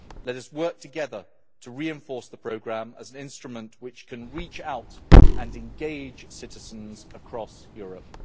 Let us work together to reinforce the programme as an instrument which can reach out and engage citizens across Europe.